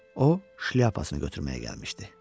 O şlyapasını götürməyə gəlmişdi.